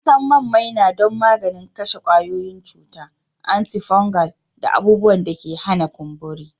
An san man maina don maganin kashe kwayoyin cuta, antifungal, da abubuwan da ke hana kumburi